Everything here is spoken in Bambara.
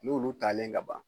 N'olu talen ka ban